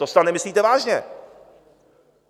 To snad nemyslíte vážně?